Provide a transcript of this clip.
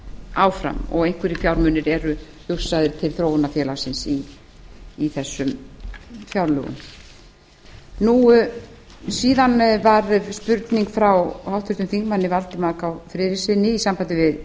áfram og einhverjir fjármunir eru hugsaðir til þróunarfélagsins í þessum fjárlögum síðan var spurning frá háttvirtum þingmanni valdimar k friðrikssyni í sambandi